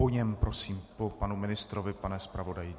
Po něm prosím, po panu ministrovi, pane zpravodaji.